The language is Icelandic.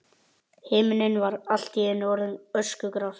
Himinninn var allt í einu orðinn öskugrár.